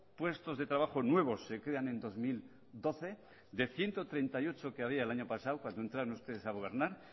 puestos de trabajo nuevos se crean en dos mil doce de ciento treinta y ocho que había el año pasado cuando entraron ustedes a gobernar